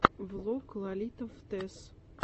влог лолито фдез